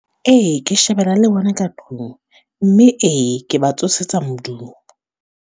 Ee, ke shebela le bona ka tlung. Mme ee, ke ba tsosetsa modumo.